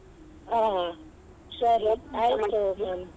ಹಾ ಸರಿ ಆಯ್ತು.